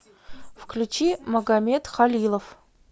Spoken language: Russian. включи магамед халилов